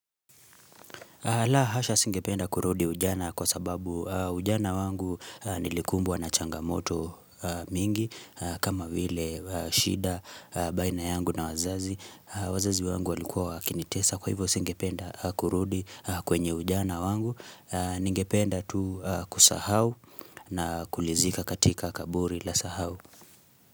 La hasha singependa kurudi ujana kwa sababu ujana wangu nilikumbwa na changamoto mingi kama vile shida baina yangu na wazazi wazazi wangu walikuwa wakinitesa kwa hivyo singependa kurudi kwenye ujana wangu Ningependa tu kusahau na kulizika katika kaburi la sahau.